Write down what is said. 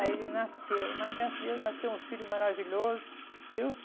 Aí ele nasceu, mas graças a Deus nasceu um filho maravilhoso, viu?